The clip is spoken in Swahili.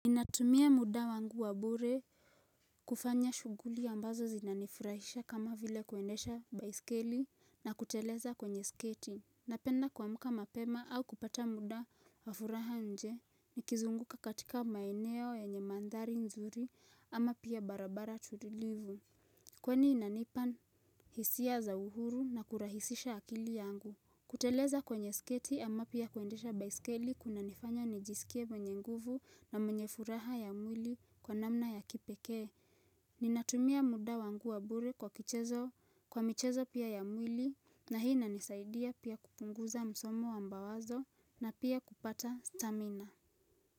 Natumia muda wangu wabure kufanya shughuli ambazo zinanifurahisha kama vile kuendesha baiskeli na kuteleza kwenye sketi Napenda kuamka mapema au kupata muda wafuraha nje ni kizunguka katika maeneo yenye mandhari nzuri ama pia barabara tulivu Kweni inanipaa hisia za uhuru na kurahisisha akili yangu kuteleza kwenye sketi ama pia kuendesha baiskeli kuna nifanya nijisikie mwenye nguvu na mwenye furaha ya mwili kwa namna ya kipekee. Ninatumia muda wangu wa bure kwa kichezo kwa michezo pia ya mwili na hii inanisaidia pia kupunguza msomo wa mbawazo na pia kupata stamina.